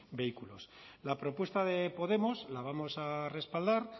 vehículos la propuesta de podemos la vamos a respaldar